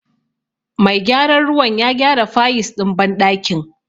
Mai gyaran ruwan ya gyara fayis ɗin banɗakin.